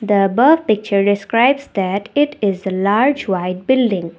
the above picture describes that it is a large white building.